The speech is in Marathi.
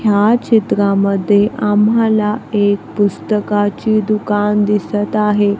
ह्या चित्रामध्ये आम्हाला एक पुस्तकाची दुकान दिसत आहे.